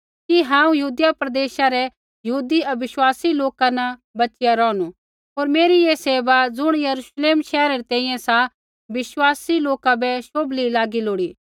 कि हांऊँ यहूदिया प्रदेशा रै यहूदी अविश्वासी लोका न बच़िया रौहणु होर मेरी ऐ सेवा ज़ुण यरूश्लेम शैहरा री तैंईंयैं सा विश्वासी लोका बै शोभली लागी लोड़ी